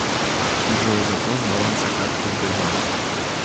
джой запрос баланса карты сбербанк